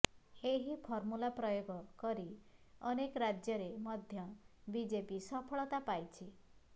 ଏହି ଫର୍ମୁଲା ପ୍ରୟୋଗ କରି ଅନେକ ରାଜ୍ୟରେ ମଧ୍ୟ ବିଜେପି ସଫଳତା ପାଇଛି